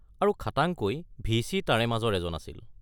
আৰু খাটাংকৈ ভি.চি. তাৰে মাজৰ এজন আছিল।